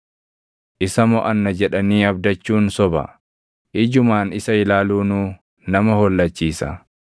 Isa moʼanna jedhanii abdachuun soba; ijumaan isa ilaaluunuu nama hollachiisa.